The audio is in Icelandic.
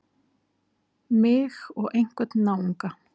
Mig og einhvern náunga.